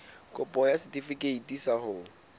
kopo ya setefikeiti sa ho